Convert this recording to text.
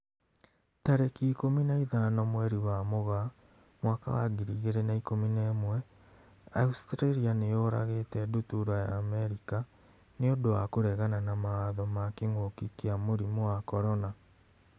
Tarĩki ikũmi na ithano mweri wa Mũgaa mwaka wa ngiri igĩrĩ na ikũmi na ĩmwe, Australia nĩ yũragĩte ndutura ya Amerika 'nĩ ũndũ wa kũregana mawatho ma kĩng'ũki kia mũrimũ wa CORONA